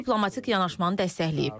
Və diplomatik yanaşmanı dəstəkləyib.